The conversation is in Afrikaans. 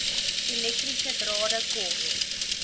elektriese drade kort